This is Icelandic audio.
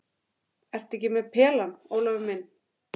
Ertu ekki með pelann, Ólafur minn?